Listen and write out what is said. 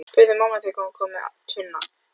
spurði mamma þegar hún kom með tvinnann.